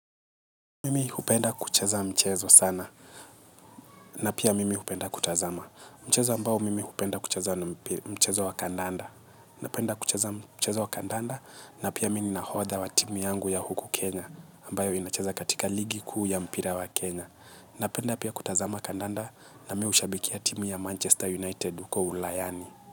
Mimi hupenda kucheza mchezo sana na pia mimi hupenda kutazama mchezo ambao mimi hupenda kucheza ni mchezo wa kandanda. Napenda kucheza mchezo wa kandanda na pia mimi ni nahodha wa timu yangu ya huku Kenya Ambayo inacheza katika ligi kuu ya mpira wa Kenya. Napenda pia kutazama kandanda na mimi hushabikia timu ya Manchester United uko ulayani.